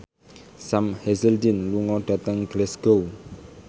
Sam Hazeldine lunga dhateng Glasgow